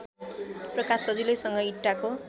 प्रकाश सजिलैसँग इँटाको